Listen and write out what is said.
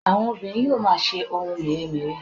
àwọn obìnrin yíò ma se ohun mere-mere